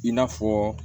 I n'a fɔ